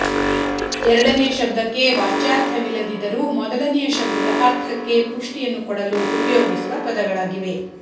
ಎರಡನೆಯ ಶಬ್ದಕ್ಕೆ ವಾಚ್ಯಾರ್ಥವಿಲ್ಲದಿದ್ದರೂ ಮೊದಲನೆಯ ಶಬ್ದದ ಅರ್ಥಕ್ಕೆ ಪುಷ್ಟಿಯನ್ನು ಕೊಡಲು ಉಪಯೋಗಿಸುವ ಪದಗಳಾಗಿವೆ